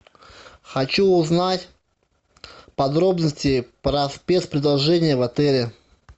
хочу узнать подробности про спецпредложения в отеле